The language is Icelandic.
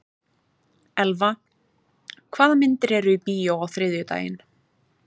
Elva, hvaða myndir eru í bíó á þriðjudaginn?